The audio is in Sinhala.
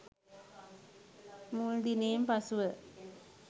මුල් දිනයෙන් පසුව